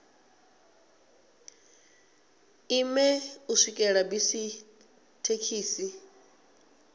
ime u swikela bisi thekhisi